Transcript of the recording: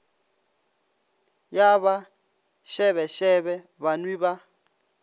ya ba šebešebe banwi ba